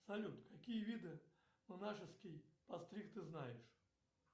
салют какие виды монашеский постриг ты знаешь